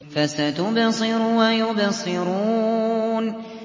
فَسَتُبْصِرُ وَيُبْصِرُونَ